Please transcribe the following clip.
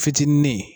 Fitinin